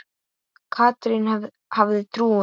Katrín hafði trúað